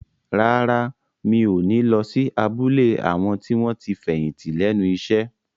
Rárá, mi ò ní lọ sí abúlé àwọn tí wọ́n ti fẹ̀yìntì lẹ́nu iṣẹ́